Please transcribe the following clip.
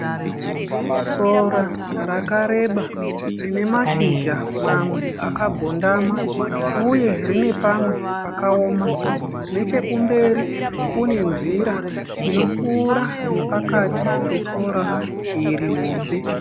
Sora rakareba rine mashizha mamwe akagondama uye rine pamwe pakaoma . Nechekumberi kune nzira inopfuura nepakati pesora iri hombe